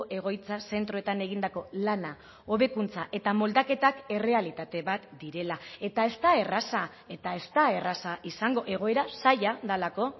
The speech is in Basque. egoitza zentroetan egindako lana hobekuntza eta moldaketak errealitate bat direla eta ez da erraza eta ez da erraza izango egoera zaila delako